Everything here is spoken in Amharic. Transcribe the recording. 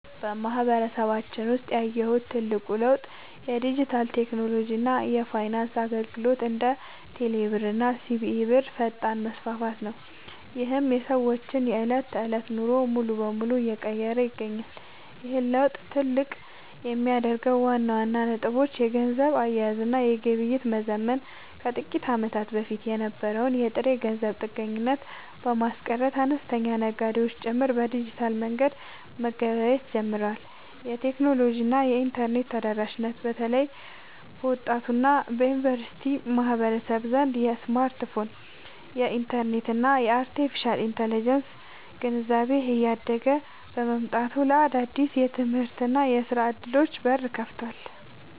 በማህበረሰባችን ውስጥ ያየሁት ትልቁ ለውጥ የዲጂታል ቴክኖሎጂ እና የፋይናንስ አገልግሎቶች (እንደ ቴሌብር እና ሲቢኢ ብር) ፈጣን መስፋፋት ነው፤ ይህም የሰዎችን የዕለት ተዕለት ኑሮ ሙሉ በሙሉ እየቀየረ ይገኛል። ይህን ለውጥ ትልቅ የሚያደርጉት ዋና ዋና ነጥቦች - የገንዘብ አያያዝ እና ግብይት መዘመን፦ ከጥቂት ዓመታት በፊት የነበረውን የጥሬ ገንዘብ ጥገኝነት በማስቀረት፣ አነስተኛ ነጋዴዎች ጭምር በዲጂታል መንገድ መገበያየት ጀምረዋል። የቴክኖሎጂ እና የኢንተርኔት ተደራሽነት፦ በተለይ በወጣቱ እና በዩኒቨርሲቲ ማህበረሰብ ዘንድ የስማርትፎን፣ የኢንተርኔት እና የአርቴፊሻል ኢንተለጀንስ (AI) ግንዛቤ እያደገ መምጣቱ ለአዳዲስ የትምህርትና የሥራ ዕድሎች በር ከፍቷል።